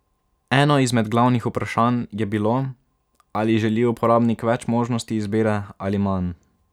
Eno izmed glavnih vprašanj je bilo, ali želi uporabnik več možnosti izbire ali manj.